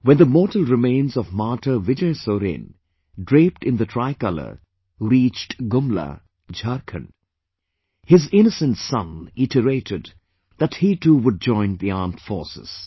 When the mortal remains of Martyr Vijay Soren, draped in the tricolor reached Gumla, Jharkhand, his innocent son iterated that he too would join the armed forces